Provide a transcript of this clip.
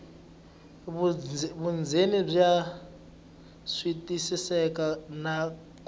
vundzeni bya twisiseka na ku